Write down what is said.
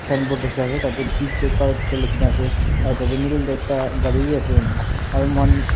signboard dikhi ase tah teh P_J car likhi na ase aru middle teh ekta gari bhi ase aru moihan--